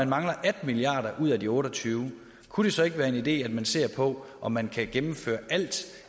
mangler atten milliard ud af de otte og tyve milliard kunne det så ikke være en idé at man ser på om man kan gennemføre alt